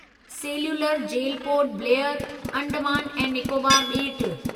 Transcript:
cellular jail Port Blair, Andaman ऐं निकोबार ॿेट